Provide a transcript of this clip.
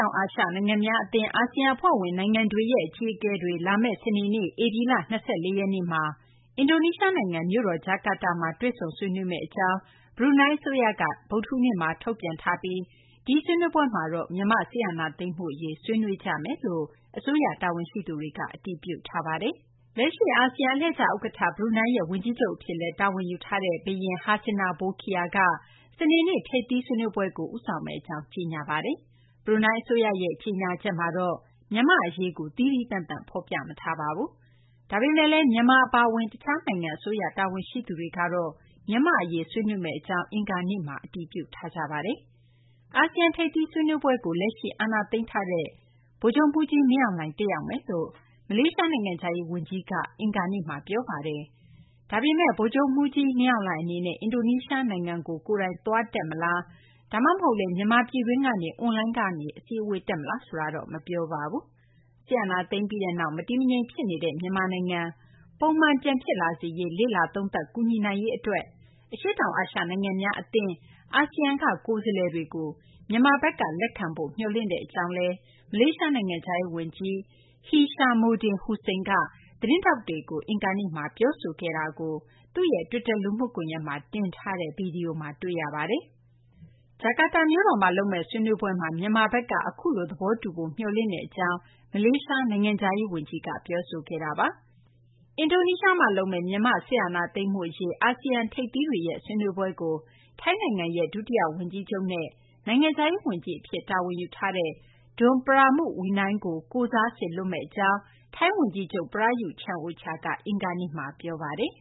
ောင် အာရှ နိုင်ငံများ အသင်း အာဆီယံ အဖွဲ့ဝင် နိုင်ငံတွေရဲ့ အကြီးအကဲတွေ လာမယ့် စနေနေ့ ဧပြီလ ၂၄ ရက်နေ့မှာ အင်ဒိုနီးရှား နိုင်ငံ မြို့တော် ဂျာကာတာမှာ တွေ့ဆုံဆွေးနွေးမယ့် အကြောင်း ဘရူးနိုင်း အစိုးရက ဗုဒ္ဓဟူးနေ့မှာ ထုတ်ပြန်ထားပြီး ဒီဆွေးနွေးပွဲမှာတော့ မြန်မာ့ စစ်အာဏာသိမ်းမှု အရေး ဆွေးနွေးမယ်လို့ အစိုးရ တာဝန်ရှိသူတွေက အတည်ပြုထားပါတယ်။ လက်ရှိ အာဆီယံ အလှည့်ကျ ဥက္ကဌ ဘရူးနိုင်းရဲ့ ဝန်ကြီးချုပ် အဖြစ်လည်း တာဝန်ယူထားတဲ့ ဘုရင် Hassanal Bolkiah က စနေနေ့ ထိပ်သီး စည်းဝေးပွဲကို ဦးဆောင်မယ့် အကြောင်း ကြေညာထားပါတယ်။ ဘရူးနိုင်း အစိုးရရဲ့ ကြေညာချက်မှာတော့ မြန်မာ့ အရေးကို သီးသီးသန့်သန့် ဖော်ပြမထားပါဘူး။ ဒါပေမယ့်လည်း မြန်မာ အပါအဝင် တခြား နိုင်ငံ အစိုးရ တာဝန်ရှိသူတွေက မြန်မာ့ အရေး ဆွေးနွေးမယ့် အကြောင်း အင်္ဂါနေ့မှာ တည်ပြုထားတာပါ။ အာဆီယံ ထိပ်သီး ဆွေးနွေးပွဲကို လက်ရှိ အာဏာသိမ်းထားတဲ့ ဗိုလ်ချုပ်မှူးကြီး မင်းအောင်လှိုင် တက်ရောက်မယ်လို့ မလေးရှား နိုင်ငံခြားရေး ဝန်ကြီးကလည်း အင်္ဂါနေ့မှာ ပြောပါတယ်။ ဒါပေမယ့်လည်း ဗိုလ်ချုပ်မှူးကြီး မင်းအောင်လှိုင် အနေနဲ့ အင်ဒိုနီးရှား နိုင်ငံကို ကိုယ်တိုင် သွားတက် မလား ဒါမှမဟုတ်လည်း မြန်မာပြည်တွင်းကနေ အွန်လိုင်းကနေ အစည်းအဝေး တက်မလားဆိုတာတော့ မပြောပါဘူး။ စစ်အာဏာသိမ်းပြီးနောက် မတည်မငြိမ် ဖြစ်နေတဲ့ မြန်မာနိုင်ငံ ပုံမှန် ပြန်ဖြစ်လာစေရေး လေ့လာသုံးသပ် ကူညီနိုင်ရေး အတွက် အရှေ့တောင် အာရှ နိုင်ငံများ အသင်း အာဆီယံက ကိုယ်စားလှယ်တွေကို မြန်မာဘက်က လက်ခံဖု့ိ မျှော်လင့်ကြောင်း မလေးရှား နိုင်ငံခြားရေး ဝန်ကြီး Hishammuddin Hussein က သတင်းထောက်တွေကို အင်္ဂါနေ့မှာ ပြောဆိုခဲ့တာကို သူ့ရဲ့ တွစ်တာ လူမှုကွန်ရက်မှာ တင်ထားတဲ့ ဗွီဒီယိုမှာ တွေ့ရပါတယ်။ ဂျာကာတာမြို့တော်မှာ လုပ်မယ့် ဆွေးနွေးပွဲမှာ မြန်မာဘက်က အခုလို သဘောတူဖို့ မျှော်လင့်တဲ့ အကြောင်း မလေးရှား နိုင်ငံခြားရေး ဝန်ကြီးက ပြောခဲ့တာပါ။ လုပ်မယ့် မြန်မာ့ စစ်အာဏာသိမ်းမှု အရေး ဆွေးနွေးပွဲကို ထိုင်းနိုင်ငံရဲ့ ဒုတိယ ဝန်ကြီးချုပ်နဲ့ နိုင်ငံခြားရေး ဝန်ကြီး Don Pramudwinai ကို ကိုယ်စားစေလွှတ်မယ့် အကြောင်း ထိုင်းဝန်ကြီးချုပ် Prayuth Chan-ocha က အင်္ဂါနေ့မှာ ပြောပါတယ်